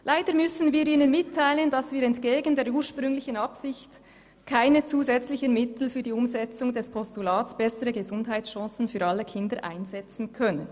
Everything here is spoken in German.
«Leider müssen wir Ihnen mitteilen, dass wir entgegen der ursprünglichen Absicht keine zusätzlichen Mittel für die Umsetzung des Postulats ‹Bessere Gesundheitschancen für alle Kinder!› einsetzen können.